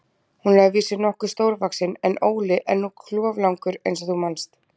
Hún er að vísu nokkuð stórvaxin, en Óli er nú kloflangur eins og þú manst.